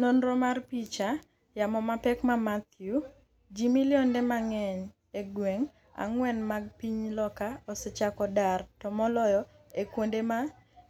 nonro mar picha. Yamo mapek ma Matthew .Ji milionde mang’eny e gwenge ang’wen mag piny loka osechako dar to moloyo e kuonde ma